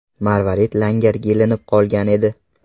Marvarid langarga ilinib qolgan edi.